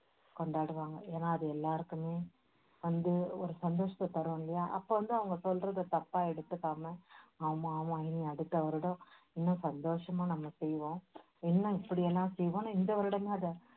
கொண்டாடுவாங்க. ஏன்னா அது எல்லாருக்குமே சந்தோ~ ஒரு சந்தோஷத்தை தரும் இல்லையா அப்போ வந்து அவங்க சொல்றதை தப்பா எடுத்துக்காம, ஆமா ஆமா இனி அடுத்த வருடம் இன்னும் சந்தோஷமா நம்ம செய்வோம். இன்னும் இப்படி எல்லாம் செய்வோம்னு இந்த வருடமே அதை